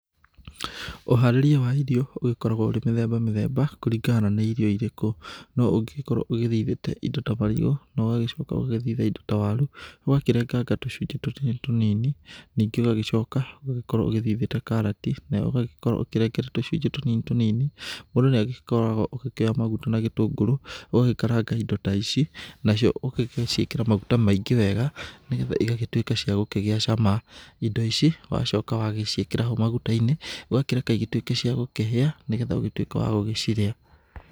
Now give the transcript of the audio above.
Ũharĩria wa irio ũgĩkoragwo ũrĩ mĩthemba mĩthemba, kũringana na nĩ irio irĩkũ. No ũngĩgĩkorwo ũgĩthithĩte indo ta marigũ, na ũgagĩcoka ũgagĩthita indo ta waru, ũgakĩrenganga tũcunjĩ tũnini tũnini ningĩ ũgagĩcoka ũgakorwo ũthithĩte karati nayo ũgagĩkorwo ũkĩrengete tũcunji tũnini tũnini, mũndũ nĩ agĩkoragwo ũgĩkĩoya maguta na gĩtũngũrũ, ũgagĩkaranga indo ta ici, na cio ũgagĩciĩkĩra maguta maingĩ wega, nĩ getha igagĩtũĩka cia gũkĩgĩa shama. Indo ici, wacoka wagĩciĩkĩra maguta-inĩ, ũgagĩkĩreka igĩtũĩke cia gũkĩhĩa, nĩ getha ũgĩtuĩke wagũgĩcirĩa.